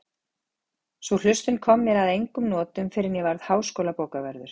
Sú hlustun kom mér að engum notum fyrr en ég varð háskólabókavörður